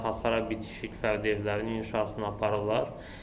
Hasara bitişik fərdi evlərinin inşasına aparırlar.